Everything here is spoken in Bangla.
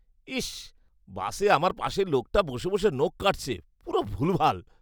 ইস, বাসে আমার পাশের লোকটা বসে বসে নখ কাটছে। পুরো ভুলভাল!